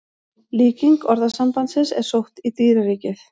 Líking orðasambandsins er sótt í dýraríkið.